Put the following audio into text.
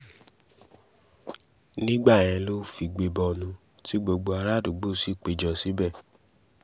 nígbà yẹn ló figbe bọnu tí gbogbo àràádúgbò sì pé jọ síbẹ̀